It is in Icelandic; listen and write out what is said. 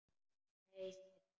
Nei, sæta.